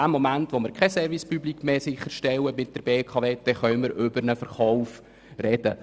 Zum Zeitpunkt, wo die BKW keinen Service Public mehr sicherstellt, können wir über einen Verkauf sprechen.